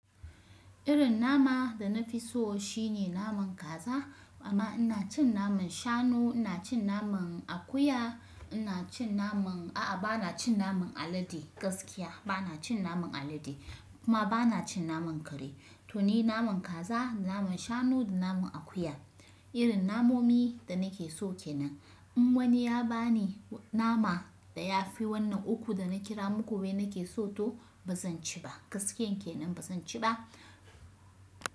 Irin nama da na fi so shine naman kaza amma ina cin naman shanu ina cin naman akuya ina cin naman a'a bana cin naman alade gaskiya bana cin naman alade kuma bana cin naman kare to ni naman kaza naman shanu da naman akuya irin namomi da nake so kenan in wani ya bani nama da ya fi wannan uku da na kira muku wai nake so to ba zan ci ba gaskiyan kenan ba zan ci ba.